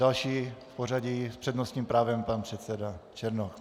Další v pořadí s přednostním právem pan předseda Černoch.